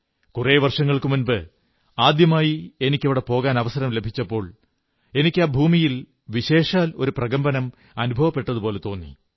കുറെ വർഷങ്ങൾക്കുമുമ്പ് ആദ്യമായി എനിക്ക് അവിടെ പോകാൻ അവസരം ലഭിച്ചപ്പോൾ എനിക്ക് ആ ഭൂമിയിൽ വിശേഷാൽ ഒരു പ്രകമ്പനം അനുഭവപ്പെട്ടതുപോലെ തോന്നി